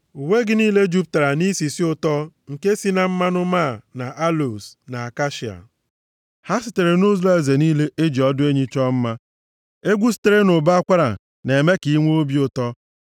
Uwe gị niile jupụtara nʼisisi ụtọ nke si na mmanụ + 45:8 Nke a bụ mmanụ isi ọma a na-efesa nʼuwe. Ọ nọ nʼọnọdụ ihe anyị na-akpọ senti taa. \+xt Abk 1:12-13.\+xt* máá na aloos na akashia; ha sitere nʼụlọeze niile, e ji ọdụ enyi chọọ mma. Egwu sitere nʼụbọ akwara na-eme ka i nwee obi ụtọ.